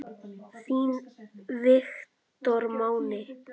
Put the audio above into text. Þinn Viktor Máni.